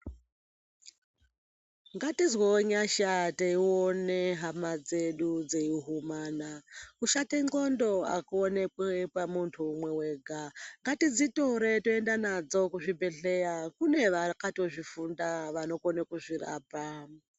Ngatizweyo nyasha teione hama dzedu dzeihumana. Kushate ndxondo hakuonekwi pamuntu umwe wega. Ngatidzitore toenda nadzo kuzvibhedhleya kune vakatozvifunda vanokone kuzvirapa.